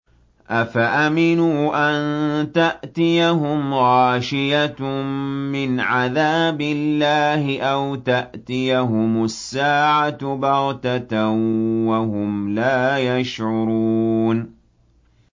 أَفَأَمِنُوا أَن تَأْتِيَهُمْ غَاشِيَةٌ مِّنْ عَذَابِ اللَّهِ أَوْ تَأْتِيَهُمُ السَّاعَةُ بَغْتَةً وَهُمْ لَا يَشْعُرُونَ